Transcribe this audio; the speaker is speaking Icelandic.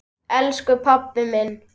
Elsku pabbi minn.